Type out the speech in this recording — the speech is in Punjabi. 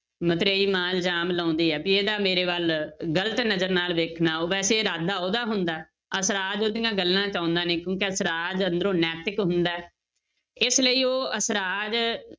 ਮਤਰੇਈ ਮਾਂ ਇਲਜ਼ਾਮ ਲਾਉਂਦੀ ਹੈ ਵੀ ਇਹਦਾ ਮੇਰੇ ਵੱਲ ਗ਼ਲਤ ਨਜ਼ਰ ਨਾਲ ਵੇਖਣਾ, ਵੈਸੇ ਇਰਾਦਾ ਉਹਦਾ ਹੁੰਦਾ ਹੈ, ਅਸਰਾਜ ਉਹਦੀਆਂ ਗੱਲਾਂ 'ਚ ਆਉਂਦਾ ਨੀ ਕਿਉਂਕਿ ਅਸਰਾਜ ਅੰਦਰੋਂ ਨੈਤਿਕ ਹੁੰਦਾ ਹੈ, ਇਸ ਲਈ ਉਹ ਅਸਰਾਜ